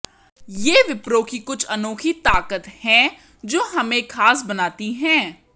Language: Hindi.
ये विप्रो की कुछ अनोखी ताकत हैं जो हमें खास बनाती हैं